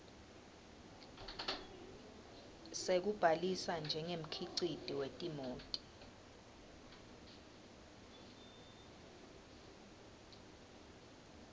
sekubhalisa njengemkhiciti wetimoti